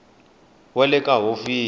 we na le ka hofisi